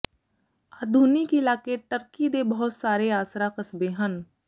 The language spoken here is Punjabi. ਆਧੁਨਿਕ ਇਲਾਕੇ ਟਰਕੀ ਦੇ ਬਹੁਤ ਸਾਰੇ ਆਸਰਾ ਕਸਬੇ ਹਨ